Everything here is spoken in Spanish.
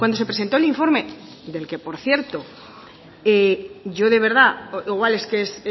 se presentó el informe del que por cierto yo de verdad igual es que es